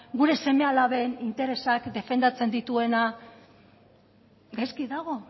gure seme alaben interesak defendatzen dituena gaizki dago